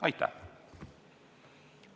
Aitäh!